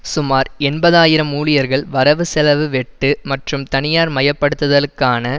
சுமார் எண்பது ஆயிரம் ஊழியர்கள் வரவுசெலவு வெட்டு மற்றும் தனியார்மயப்படுத்தலுக்கான